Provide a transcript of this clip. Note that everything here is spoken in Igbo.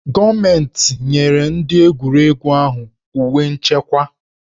Gọọmentị nyere ndị egwuregwu ahụ uwe nchekwa